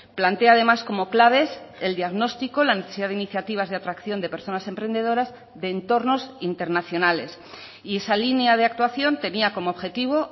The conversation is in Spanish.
plantea además como claves el diagnóstico la necesidad de iniciativas de atracción de personas emprendedoras de entornos internacionales y esa línea de actuación tenía como objetivo